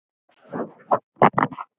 Ég ýtti honum frá mér.